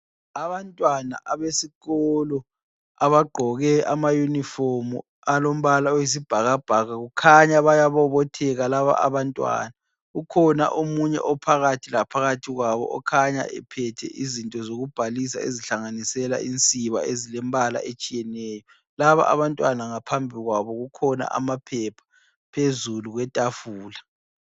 Abantwana abesikolo abagqoke amayunifomu alombala oyisibhakabhaka kukhanya bayabobotheka laba abantwana. Kukhona omunye ophakathi laphakathi kwabo okhanya ephethe izinto zokubhalisa ezihlanganisela insiba ezilemibala etshiyeneyo. Laba abantwana ngaphambi kwabo kukhona amaphepha phezulu kwetafula.